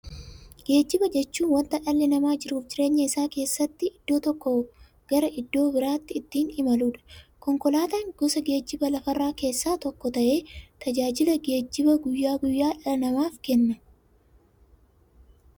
Geejjiba jechuun wanta dhalli namaa jiruuf jireenya isaa keessatti iddoo tokkoo gara iddoo birootti ittiin imaluudha. Konkolaatan gosa geejjibaa lafarraa keessaa tokko ta'ee, tajaajila geejjibaa guyyaa guyyaan dhala namaaf kenna.